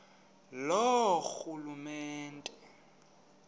loorhulumente